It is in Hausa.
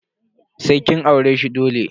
Sai kin aure shi dole.